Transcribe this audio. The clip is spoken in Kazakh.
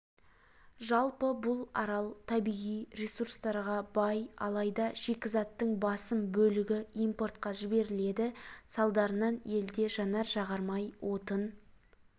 жалпы бұл арал табиғи ресурстарға бай алайда шикізаттың басым бөлігі импортқа жіберіледі салдарынан елде жанар-жағармай отын